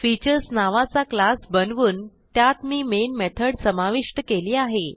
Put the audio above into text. Featuresनावाचा class बनवून त्यात मी मेन मेथड समाविष्ट केली आहे